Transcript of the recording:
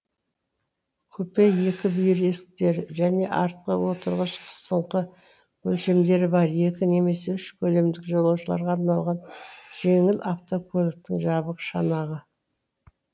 купе екі бүйір есіктері және артқы отырғыш қысыңқы өлшемдері бар екі немесе үш көлемдік жолаушыларға арналған жеңіл автокөліктің жабық шанағы